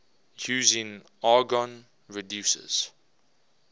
using argon reduces